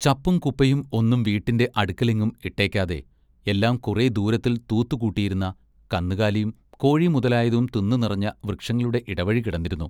ചപ്പും കുപ്പയും ഒന്നും വീട്ടിന്റെ അടുക്കലെങ്ങും ഇട്ടെക്കാതെ എല്ലാം കുറെ ദൂരത്തിൽ തൂത്തുകൂട്ടിയിരുന്ന കന്നുകാലിയും കോഴിമുതലായതും തിന്നു നിറഞ്ഞ വൃക്ഷങ്ങളുടെ ഇടവഴി കിടന്നിരുന്നു.